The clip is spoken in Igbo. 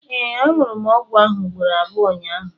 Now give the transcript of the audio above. ee, añụrụ m ọgwụ ahụ ugboro abụọ ụnyahụ